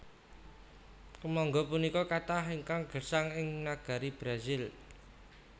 Kèmangga punika katah ingkang gèsang ing nagari Brasil